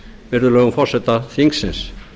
virðulegum forseta þingsins